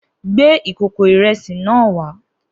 Gbé ìkòkò ìre̩sì náà wá!